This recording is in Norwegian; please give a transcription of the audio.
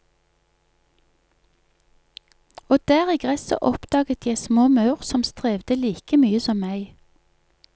Og der i gresset oppdaget jeg små maur som strevde like mye som meg.